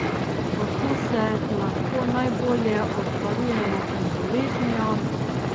Kako se lahko najbolje obvarujemo pred boleznijo?